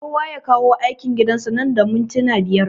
Kowa ya kawo aikin gidan sa nan da mintuna biyar